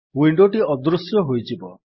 ୱିଣ୍ଡୋଟି ଅଦୃଶ୍ୟ ହୋଇଯିବ